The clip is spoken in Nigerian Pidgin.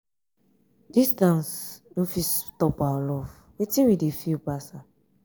distance no fit stop our love wetin we dey feel pass am